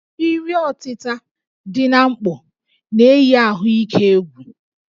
Iri ọtịta dị na mkpọ na-eyi ahụike egwu